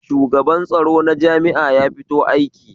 Shugaban tsaro na jami'a ya fito aiki